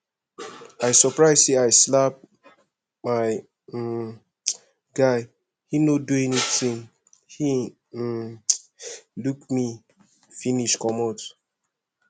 i surprise say i slap my um guy he no do anythinghe um look me finish comot